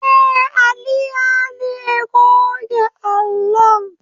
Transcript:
Eh, Ali yane goge allon